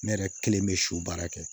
Ne yɛrɛ kelen bɛ siw baara kɛ